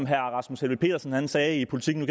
herre rasmus helveg petersen sagde i politiken